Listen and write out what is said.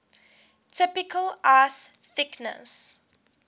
typical ice thickness